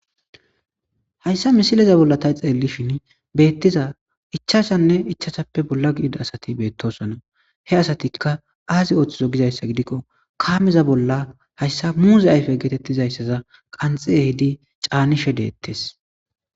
Ha misileza bolla ta xelishini ichashanne ichashape bolla gidiza eqida asati betosona he asatikka azi othizo gida gidiko kameza bolla hayisa muze ayife getetizayisa qanixi ehidi canishe detesi